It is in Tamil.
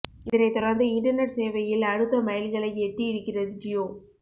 இதனை தொடர்ந்து இன்டர்நெட் சேவையில் அடுத்த மைல்கல்லை எட்டி இருக்கிறது ஜியோ